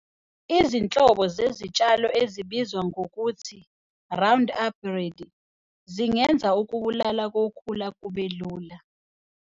Izinhlobo zezitshalo ezibizwa ngokuthi 'Roundup Ready' zingenza ukubulala kokhula kube lula.